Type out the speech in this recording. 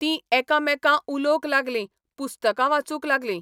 ती एका मेकेां उलोवक लागली, पुस्तकां वाचूक लागली.